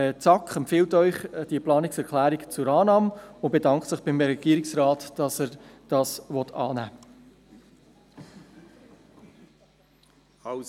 Die SAK empfiehlt Ihnen diese Planungserklärung zur Annahme und bedankt sich beim Regierungsrat dafür, dass er sie annehmen will.